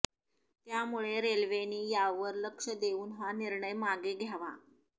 त्यामुळे रेल्वेनी यावर लक्ष देऊन हा निर्णय मागे घ्यावा